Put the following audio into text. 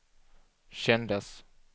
kändes